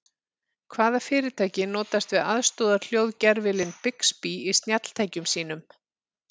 Hvaða fyrirtæki notast við aðstoðarhljóðgervilinn Bixby í snjalltækjum sínum?